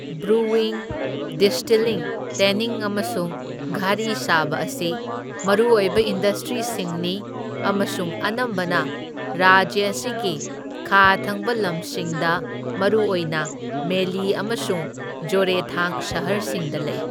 Brewing, distilling, tanning ꯑꯃꯁꯨꯡ ꯘꯔꯤ ꯁꯥꯕ ꯑꯁꯤ ꯃꯔꯨꯑꯣꯏꯕ ꯏꯟꯗꯁꯇ꯭ꯔꯤꯁꯤꯡꯅꯤ ꯑꯃꯁꯨꯡ ꯑꯅꯝꯕꯅ ꯔꯥꯖ꯭ꯌ ꯑꯁꯤꯒꯤ ꯈꯥ ꯊꯪꯕ ꯂꯝꯁꯤꯡꯗ ꯃꯔꯨꯑꯣꯏꯅ ꯃꯦꯂꯤ ꯑꯃꯁꯨꯡ ꯖꯣꯔꯦꯊꯥꯡ ꯁꯍꯔꯁꯤꯡꯗ ꯂꯩ꯫